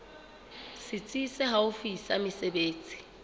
setsi se haufi sa mesebetsi